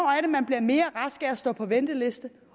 at man bliver mere rask af at stå på venteliste